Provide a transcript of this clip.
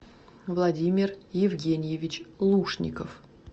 владимир евгеньевич лушников